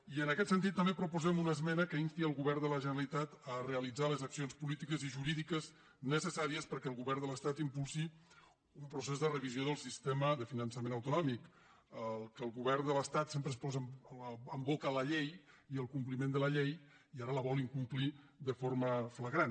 i en aquest sentit també proposem una esmena que insti el govern de la generalitat a realitzar les accions polítiques i jurídiques necessàries perquè el govern de l’estat impulsi un procés de revisió del sistema de finançament autonòmic el que el govern de l’estat sempre es posa a la boca la llei i el compliment de la llei i ara vol incomplir de forma flagrant